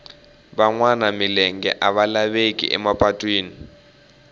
va nwa milenge a va laveki ema patwini